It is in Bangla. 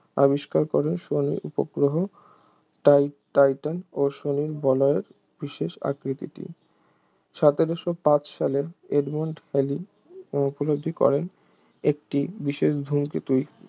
আবিষ্কার করে শনির উপগ্রহ টাই~ টাইটান ও শনির বলয়ের বিশেষ আকৃতিটি সতেরশ পাঁচ সালে এডমন্ড হ্যালি ও উপলব্ধি করেন একটি বিশেষ ধূমকেতু